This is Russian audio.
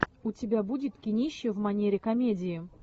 у тебя будет кинище в манере комедии